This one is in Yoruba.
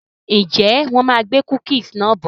Ǹjẹ́ wọn má gbé "cookies" náà bọ̀?